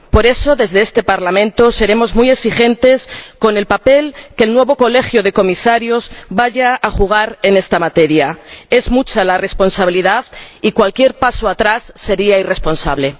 Por eso, desde este Parlamento seremos muy exigentes con el papel que el nuevo Colegio de Comisarios vaya a jugar en esta materia. Es mucha la responsabilidad y cualquier paso atrás sería irresponsable.